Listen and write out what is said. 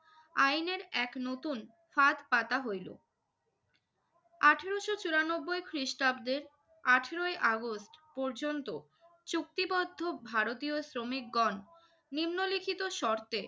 আইনের এক নতুন ফাঁদ পাতা হইল। আঠারোশো চুরানব্বই খ্রিস্টাব্দে আঠারোই আগস্ট পর্যন্ত চুক্তিপত্র ভারতীয় শ্রমিকগণ নিম্নলিখিত শর্তে